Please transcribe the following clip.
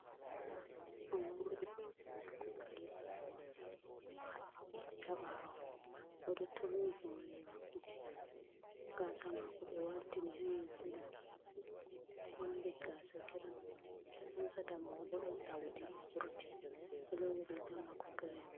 O moori moorɗi maako kalaba, o haɓɓi ɗi haa ɓaawo, o ɗo turni hoore, gaasa maako ɓe waltini haa yeeso ɗo, o ɗo mari gaasa giram. Mo hoosata may bo, ɗon ɗowdi wurti, o ɗo loowi riiga maako girin.